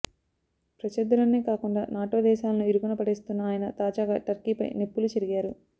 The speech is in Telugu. ప్రత్యర్థులనే కాకుండా నాటో దేశాలను ఇరుకున పడేస్తున్న ఆయన తాజాగా టర్కీపై నిప్పులు చెరిగారు